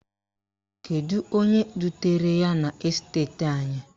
Kedu onye dutere ya n'esteti anyị?